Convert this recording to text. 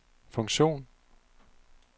funktion